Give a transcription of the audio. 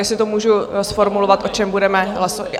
jestli to můžu zformulovat, o čem budeme hlasovat?